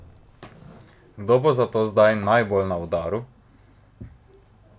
Kdo bo zato zdaj najbolj na udaru?